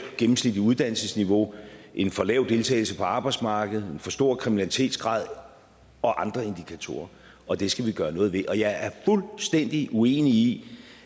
gennemsnitligt uddannelsesniveau en for lav deltagelse på arbejdsmarkedet en for stor kriminalitetsgrad og andre indikatorer og det skal vi gøre noget ved jeg er fuldstændig uenig i